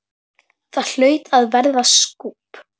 Það hlaut að verða skúbb?